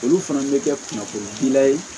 Olu fana bɛ kɛ kunnafonidila ye